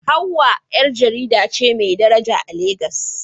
Hawwa ƴar jarida ce mai daraja a Legas